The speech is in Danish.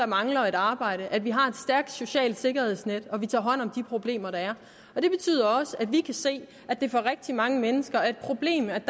mangler et arbejde at vi har et stærkt socialt sikkerhedsnet og at vi tager hånd om de problemer der er det betyder også at vi kan se at det for rigtig mange mennesker er et problem at